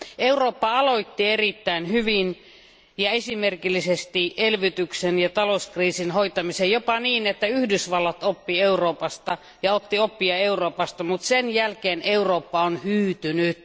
Eurooppa aloitti erittäin hyvin ja esimerkillisesti elvytyksen ja talouskriisin hoitamisen, jopa niin, että Yhdysvallat oppi Euroopasta ja otti oppia Euroopasta, mutta sen jälkeen Eurooppa on hyytynyt.